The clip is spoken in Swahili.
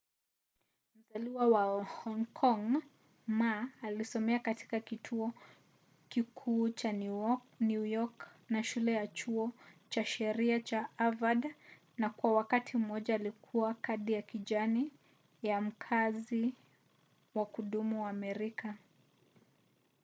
mzaliwa wa hong kong ma alisomea katika kituo kikuu cha new york na shule ya chuo cha sheria cha harvard na kwa wakati mmoja alikuwa na kadi ya kijani” ya mkazi wa kudumu wa amerika